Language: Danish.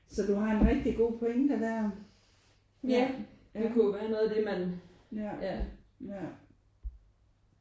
Så du har en rigtig god pointe der ja ja ja